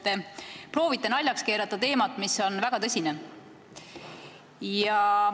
Te proovite naljaks keerata teemat, mis on väga tõsine.